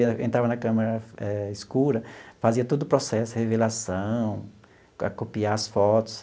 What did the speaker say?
Eu entrava na câmara eh escura, fazia todo o processo, revelação, copiar as fotos.